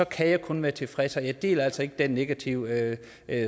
kan jeg kun være tilfreds og jeg deler altså ikke den negative